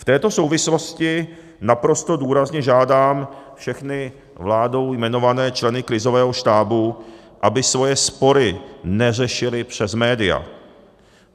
V této souvislosti naprosto důrazně žádám všechny vládou jmenované členy krizového štábu, aby svoje spory neřešili přes média.